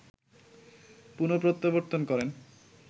পুনঃপ্রত্যাবর্তন করেন